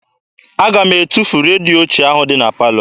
Aga m etufu redio ochie ahụ dị na palọ.